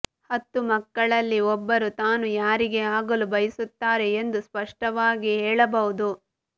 ಹತ್ತು ಮಕ್ಕಳಲ್ಲಿ ಒಬ್ಬರು ತಾನು ಯಾರಿಗೆ ಆಗಲು ಬಯಸುತ್ತಾರೆ ಎಂದು ಸ್ಪಷ್ಟವಾಗಿ ಹೇಳಬಹುದು